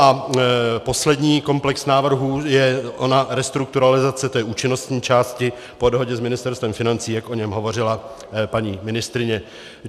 A poslední komplex návrhů je ona restrukturalizace té účinnostní části po dohodě s Ministerstvem financí, jak o něm hovořila paní ministryně.